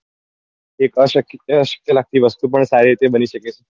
એક અ શક્ય અ શક્ય લગતી વસ્તુ પણ સારી રીતે બની શકે